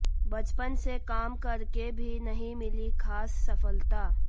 बचपन से काम करके भी नहीं मिली खास सफलता